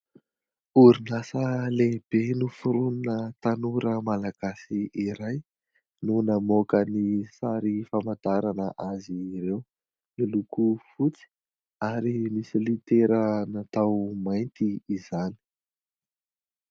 Orinasa lehibe noforonina tanora malagasy iray no namoaka ny sary famantarana azy ireo. Miloko fotsy ary misy litera natao mainty izany.